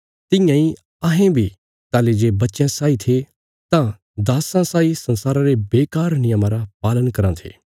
तियां इ अहें बी ताहली जे बच्चयां साई थे तां दास्सां साई संसारा रे बेकार नियमां रा पालन कराँ थे